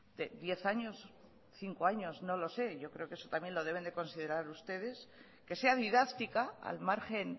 de diez años cinco años no lo sé yo creo que eso también lo deben de considerar ustedes que sea didáctica al margen